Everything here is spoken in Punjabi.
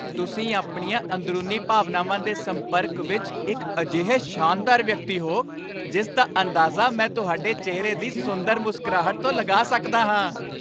ਤੁਸੀਂ ਆਪਣੀਆਂ ਅੰਦਰੂਨੀ ਭਾਵਨਾਵਾਂ ਦੇ ਸੰਪਰਕ ਵਿੱਚ ਇੱਕ ਅਜਿਹੇ ਸ਼ਾਨਦਾਰ ਵਿਅਕਤੀ ਹੋ ਜਿਸ ਦਾ ਅੰਦਾਜ਼ਾ ਮੈਂ ਤੁਹਾਡੇ ਚਿਹਰੇ ਦੀ ਸੁੰਦਰ ਮੁਸਕਰਾਹਟ ਤੋਂ ਲਗਾ ਸਕਦਾ ਹਾਂ।